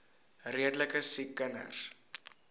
redelike siek kinders